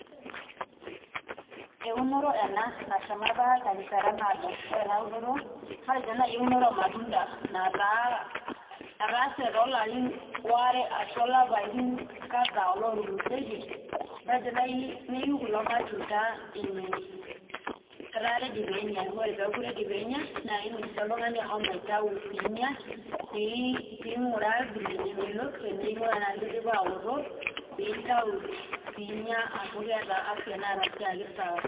Eunore ena nashomo apa terishata naado, ore ena unore matejo naai eunore ormatunda nataase toolarrin aare ashu ilapaitin kadhaa ootulusoitie matejo naai neiu kulo matunda nini, etaa ready pee enyai naa indim sii oltung'ani ashomo aitayu piinya piing'uraa vile nemelok ning'uraa enaa kidipa aoto nintau piinya amu keeta afya neton sii aa kesawa.